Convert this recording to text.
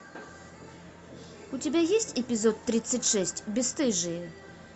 у тебя есть эпизод тридцать шесть бесстыжие